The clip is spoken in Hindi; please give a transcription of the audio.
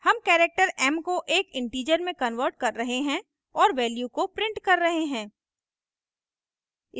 हम character m को एक integer में converting कर रहे हैं और value को प्रिंट कर रहे हैं